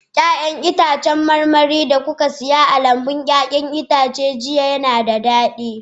Ya'yan itãcen marmari da kuka saya a lambun 'ya'yan itace jiya, suna da daɗi?